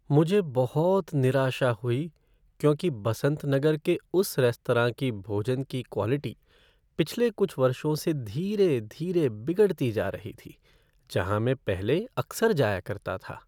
मुझे बहुत निराशा हुई क्योंकि बसंत नगर के उस रेस्तरां के भोजन की क्वॉलिटी पिछले कुछ वर्षों से धीरे धीरे बिगड़ती जा रही थी जहाँ मैं पहले अक्सर जाया करता था।